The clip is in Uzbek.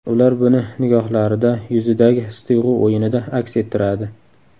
Ular buni nigohlarida, yuzidagi his-tuyg‘u o‘yinida aks ettiradi.